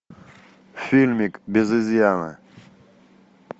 фильмик без изъяна